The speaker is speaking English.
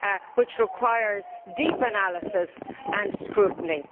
which requires deep analysis and scrutiny.